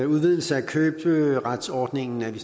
udvidelse af køberetsordningen er vi